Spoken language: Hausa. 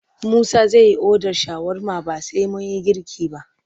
Musa zai yi odar shawarma ba sai mun yi girki ba.